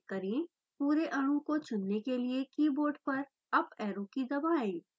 पूरे अणु को चुनने के लिए कीबोर्ड पर अप एरो की दबाएँ